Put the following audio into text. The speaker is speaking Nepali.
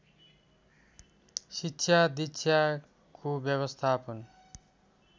शिक्षा दिक्षाको व्यवस्थापन